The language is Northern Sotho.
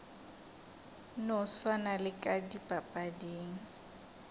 no swana le ka dipapading